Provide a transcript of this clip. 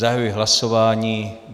Zahajuji hlasování.